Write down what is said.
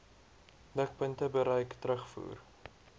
mikpunte bereik terugvoer